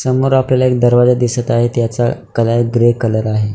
समोर आपल्याला एक दरवाजा दिसत आहे त्याचा कलर ग्रे कलर आहे.